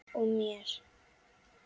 Og mér.